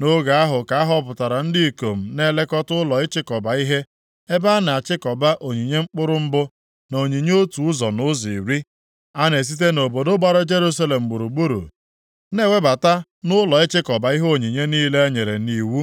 Nʼoge ahụ ka a họpụtara ndị ikom na-elekọta ụlọ ịchịkọba ihe, ebe a na-achịkọba onyinye mkpụrụ mbụ, na onyinye otu ụzọ nʼụzọ iri. A na-esite nʼobodo gbara Jerusalem gburugburu na-ewebata nʼụlọ ịchịkọba ihe onyinye niile e nyere nʼiwu